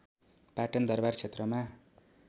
पाटन दरबार क्षेत्रमा